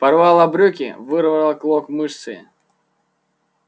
порвала брюки вырвала клок мышцы